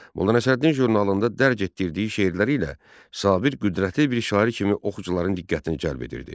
Molla Nəsrəddin jurnalında dərc etdirdiyi şeirləri ilə Sabir qüdrətli bir şair kimi oxucuların diqqətini cəlb edirdi.